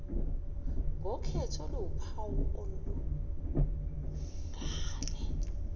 ngokhetho oluwuphawu olungale